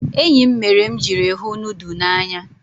Enyi m mere m ijiri hu nudu n'anya.